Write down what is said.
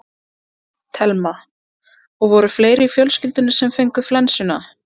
Telma: Og voru fleiri í fjölskyldunni sem fengu flensuna?